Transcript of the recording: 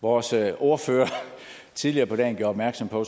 vores ordfører tidligere på dagen gjorde opmærksom på